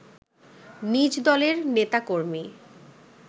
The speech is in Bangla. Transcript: নিজদলের নেতাকর্মী